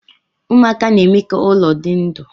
Ụmụaka na-eme ka ụlọ dị ndụ